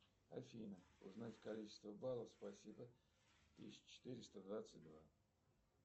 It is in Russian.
афина узнать количество баллов спасибо тысяча четыреста двадцать два